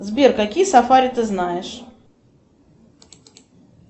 сбер какие сафари ты знаешь